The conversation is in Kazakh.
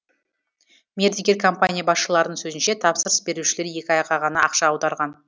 мердігер компания басшыларының сөзінше тапсырыс берушілер екі айға ғана ақша аударған